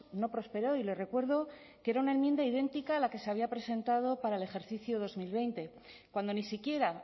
no prosperó y le recuerdo que era una enmienda idéntica a la que se había presentado para el ejercicio dos mil veinte cuando ni siquiera